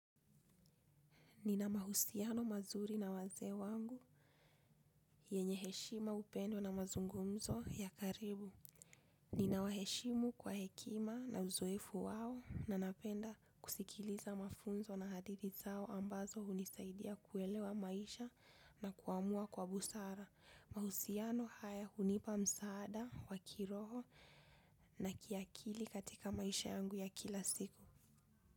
Nina mahusiano mazuri na wazee wangu, yenye heshima upendo na mazungumzo ya karibu. Nina waheshimu kwa hekima na uzoefu wao na napenda kusikiliza mafunzo na hadithi zao ambazo hunisaidia kuelewa maisha na kuamua kwa busara. Mahusiano haya hunipa msaada wa kiroho na kiakili katika maisha yangu ya kila siku.